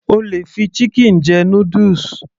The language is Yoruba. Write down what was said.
O lè fi chicken jẹ noodles